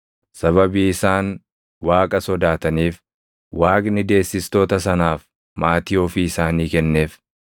Sababii isaan Waaqa sodaataniif Waaqni deessistoota sanaaf maatii ofii isaanii kenneef.